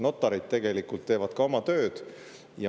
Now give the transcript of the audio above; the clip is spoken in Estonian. Notarid teevad ka oma tööd.